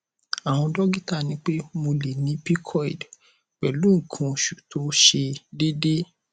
àwọn dọkítà ní pé mo lè ní pcod pẹlú nǹkan oṣù tó ṣe déédé